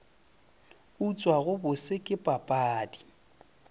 utswa go bose ke papadi